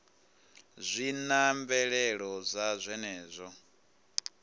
zwi na mvelelo dza zwenezwo